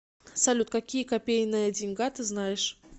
салют какие копейная деньга ты знаешь